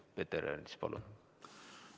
Peeter Ernits, palun!